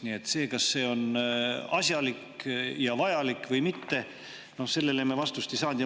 Nii et sellele, kas see on asjalik ja vajalik või mitte, me vastust ei saanud.